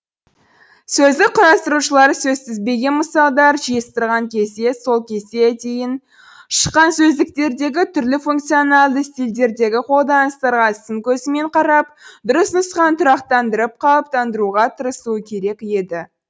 сөздік құрастырушылар сөзтізбеге мысалдар жиыстырған кезде сол кезде дейін шыққан сөздіктердегі түрлі функционалды стильдердегі қолданыстарға сын көзімен қарап дұрыс нұсқаны тұрақтандырып қалыптандыруға тырысуы керек еді